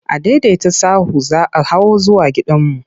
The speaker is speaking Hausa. Adaidaita sahu za hawo zuwa gidanmu.